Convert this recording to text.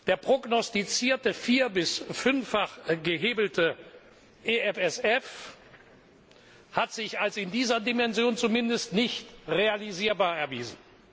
Der prognostizierte vier bis fünffach gehebelte EFSF hat sich als in dieser Dimension zumindest nicht realisierbar erwiesen.